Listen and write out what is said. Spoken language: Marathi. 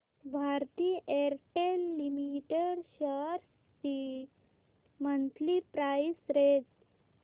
भारती एअरटेल लिमिटेड शेअर्स ची मंथली प्राइस रेंज